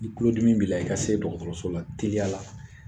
Ni kulodimi b'i la i ka se dɔgɔtɔrɔso la teliya la